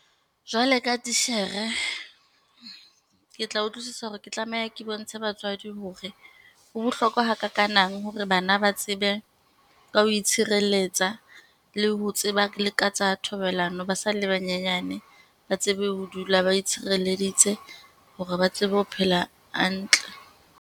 Jwale ka titjhere, ke tla utlwisisa hore ke tlameha ke bontshe batswadi hore, ho bohlokwa hakakanang hore bana ba tsebe ka ho itshirelletsa le ho tseba le ka tsa thobalano ba sa le banyenyane, ba tsebe ho dula ba itshireleditse, hore ba tsebe ho phela hantle.